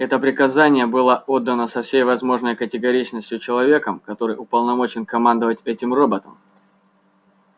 это приказание было отдано со всей возможной категоричностью человеком который уполномочен командовать этим роботом